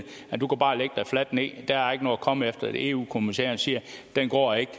at fladt ned at der er ikke noget at komme efter for eu kommissæren siger at den går ikke